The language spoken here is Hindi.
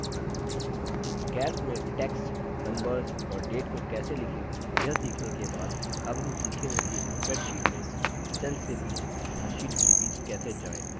calc में text numbers और dates को कैसे लिखें यह सीखने के बाद अब हम सीखेंगे कि spreadsheet में cell के बीच तथा शीट्स के बीच कैसे जाएँ